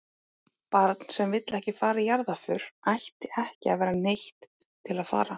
Barn sem ekki vill fara í jarðarför ætti ekki að vera neytt til að fara.